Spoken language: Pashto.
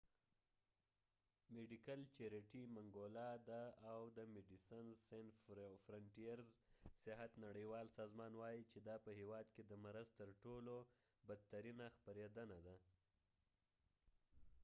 د medical charity mangola medecines sans frontieres او د صحت نړیوال سازمان وایي چې دا په هیواد کې د مرض تر ټولو بدترینه خپریدنه ده